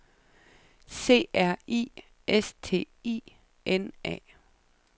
C R I S T I N A